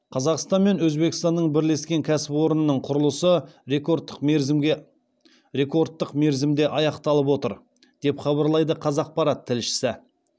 қазақстан мен өзбекстанның бірлескен кәсіпорнының құрылысы рекордтық мерзімде аяқталып отыр деп хабарлайды қазақпарат тілшісі